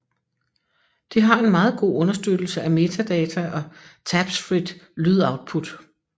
Det har en meget god understøttelse af metadata og tabsfrit lydoutput